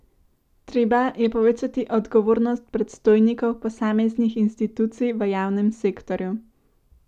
Treba je povečati odgovornost predstojnikov posameznih institucij v javnem sektorju.